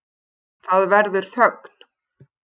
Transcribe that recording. Það verður þögn.